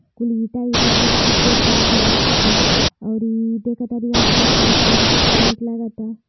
कुल ईटा वीटा भी सफ़ेद कलर के लौकाता और ई देख्तारी आस पास के नज़ारा भी कितना निक लाग ता।